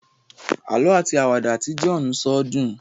àlọ ati Àwàdà Tí John so dùn